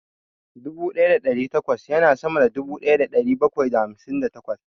Dubu ɗaya da ɗari takwas ya na sama da dubu ɗaya da ɗari bakwai da hamsin da takwas